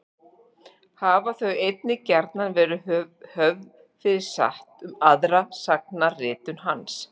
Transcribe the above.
Hafa þau einnig gjarnan verið höfð fyrir satt um aðra sagnaritun hans.